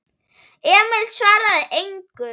Emil svaraði engu.